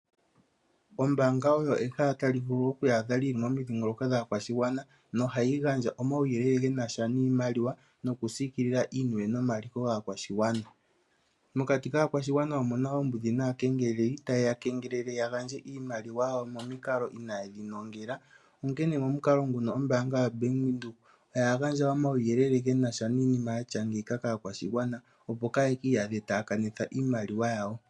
Ombaanga oyo ehala tali vulu oku iyadha lili momidhingoloko dhaakwashigwna nohayi gandja omuwuyelele gena sha niimaliwa nokusiikilila iiniwe nomaliko gaakwashigwana. Mokati kaakwashigwana omu na oombudhi naakengeleli taye ya kengelele ya gandje iimaliwa yawo momikalo inaaye dhi nongela onkene momukalo nguno ombaanga yaBank Windhoek oya gandja omauyelele ge na sha niinima yatya ngeyika kaakwashigwana opo kaaye ki iyadhe ta kanitha iimaliwa yawo.